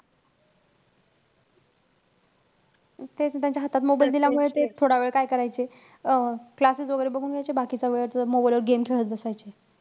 तेच न त्यांच्या हातात mobile दिल्यामुळे, ते थोडावेळ काय करायचे? अं classes वैगेरे बघून घ्यायचे, बाकीचा वेळ mobile वर game खेळत बसायचे.